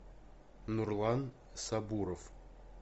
нурлан сабуров